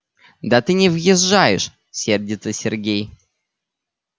да ты не въезжаешь сердится сергей